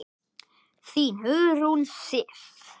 Þín, Hugrún Sif.